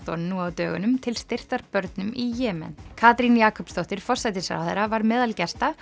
nú á dögunum til styrktar börnum í Jemen Katrín Jakobsdóttir forsætisráðherra var meðal gesta